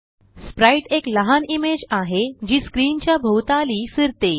Sprite एक लहान image आहे जी स्क्रीन च्या भोवताली फिरते